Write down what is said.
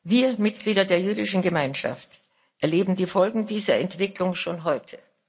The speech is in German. Wir Mitglieder der jüdischen Gemeinschaft erleben die Folgen dieser Entwicklung schon heute.